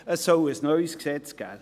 Es soll ein neues Gesetz geben.